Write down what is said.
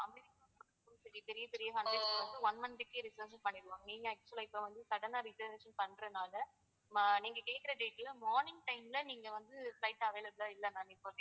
பெரிய பெரிய one month க்கே reservation பண்ணிடுவாங்க. நீங்க actual ஆ இப்போ வந்து sudden ஆ reservation பண்றதுனால அஹ் நீங்க கேட்குற date ல morning time ல நீங்க வந்து flight available லா இல்ல ma'am இப்போதைக்கு